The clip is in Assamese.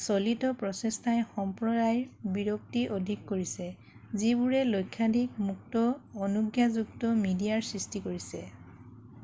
চলিত প্ৰচেষ্টাই সম্প্ৰদায় বিৰক্তি অধিক কৰিছে যিবোৰে লক্ষাধিক মুক্ত-অনুজ্ঞাযুক্ত মিডিয়াৰ সৃষ্টি কৰিছে